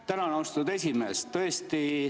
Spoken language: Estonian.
Tänan, austatud esimees!